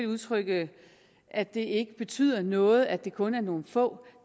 udtrykke at det ikke betyder noget at det kun er nogle få